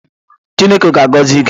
Chineke ga-agọzi gị!